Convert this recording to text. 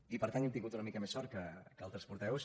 i per tant hem tingut una mica més de sort que altres portaveus